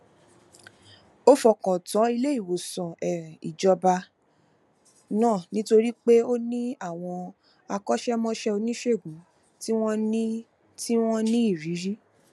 ó fọkàn tán iléìwòsàn um ìjọba náà nítorí pé ó ní àwọn akọṣẹmọṣẹ oníṣègùn tí wọn ní tí wọn ní ìrírí